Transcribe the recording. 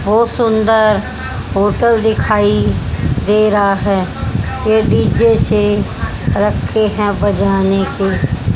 बहुत सुंदर होटल दिखाई दे रहा है यह डीजे से रखे हैं बजाने के।